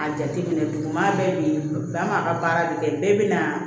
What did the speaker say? A jateminɛ duguma bɛɛ bi bɛn an b'a ka baara de kɛ bɛɛ bi na